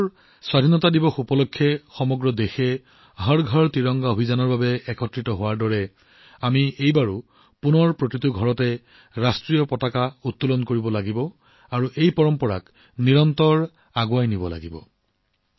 যোৱা বছৰ স্বাধীনতা দিৱস উপলক্ষে যেনেকৈ সমগ্ৰ দেশ একত্ৰিত হৈছিল হৰ ঘৰ ত্ৰিৰংগা অভিযানৰ বাবে একেদৰে এইবাৰো আমি ঘৰে ঘৰে ত্ৰিৰংগা উন্মোচন কৰিব লাগিব আৰু এই পৰম্পৰা অব্যাহত ৰাখিব লাগিব